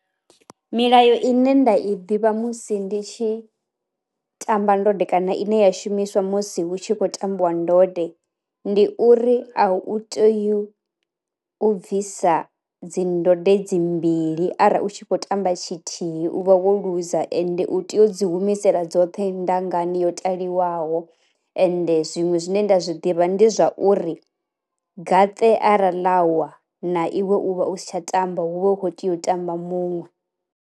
Milayo ine nda i ḓivha musi ndi tshi tamba ndode kana ine ya shumiswa musi hu tshi khou tambiwa ndode, ndi uri a u tei u bvisa dzi ndode dzi mbili arali u tshi kho tamba tshithihi u vha wo luza ende u tea u dzi humisela dzoṱhe ndangani yo taliwaho, ende zwiṅwe zwine nda zwiḓivha ndi zwa uri gaṱe ara ḽa wa na iwe u vha u si tsha tamba hu vha hu kho tea u tamba muṅwe.